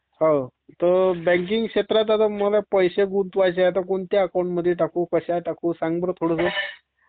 हो तर बॅंकींग क्षेत्रात मला पैसे गुंतवायचे तर कोणत्या अकाऊंटमध्ये टाकू..कसे टाकू सांग बर थोडसं...